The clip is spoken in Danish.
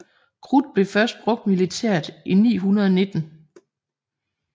Krudt blev først brugt militært i 919